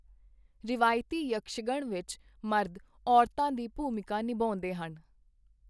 ਰਵਾਇਤੀ ਯਕਸ਼ਗਣ ਵਿੱਚ ਮਰਦ ਔਰਤਾਂ ਦੀ ਭੂਮਿਕਾ ਨਿਭਾਉਂਦੇ ਹਨ।